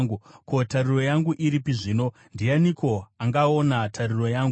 ko, tariro yangu iripi zvino? Ndianiko angaona tariro yangu?